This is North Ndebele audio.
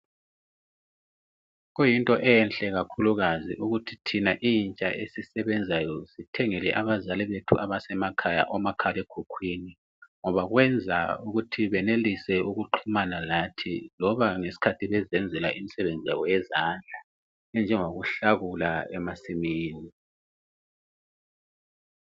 Kuyinto enhla kakhulukazi ukuthi thina intsha thina esisebenzayo sithengele abazali bethu abasemakhaya omakhalekhukhwini ngoba kwenza ukuthi benelise ukuxhumana lathi loba ngesikhathi bezenzela imisebenzi yabo yezandla enjengokuhlakula emasimini.